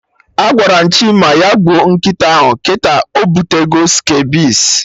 Agwara m Chima ya gbuo nkịta ahụ, kịta obutego Scabies